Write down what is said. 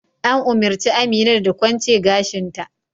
An umurci Amina da ta kwance gashin ta!